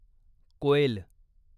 कोएल